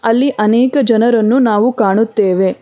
ಅಲ್ಲಿ ಅನೇಕ ಜನರನ್ನು ನಾವು ಕಾಣುತ್ತೆವೆ